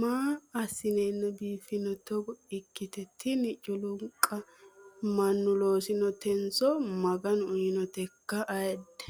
Maa asinenna biifino toggo ikkitte tini culluniqqa mannu loosotiso maganu uyinotekka ayyidde?